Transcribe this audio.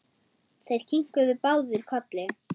Þeir kinkuðu báðir kolli.